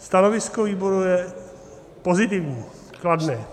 Stanovisko výboru je pozitivní, kladné.